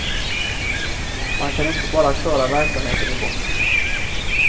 Man kan inte bara köra verksamheten i botten.